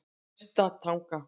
Naustatanga